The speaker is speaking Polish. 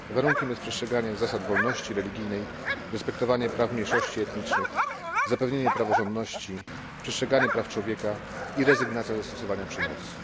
Warunkiem jest przestrzeganie zasad wolności religijnej, respektowanie praw mniejszości etnicznych, zapewnienie praworządności, przestrzeganie praw człowieka i rezygnacja ze stosowania przemocy.